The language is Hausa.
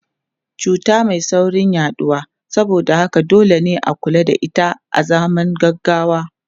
Cuta mai saurin yaduwa saboda haka dole ne a kula da ita azaman gaggawa.